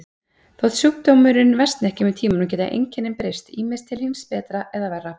Þótt sjúkdómurinn versni ekki með tímanum geta einkennin breyst, ýmist til hins betra eða verra.